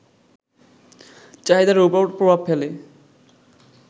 চাহিদার উপর প্রভাব ফেলে